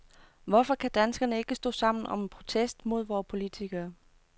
Hvorfor kan danskerne ikke stå sammen om en protest mod vore politikere?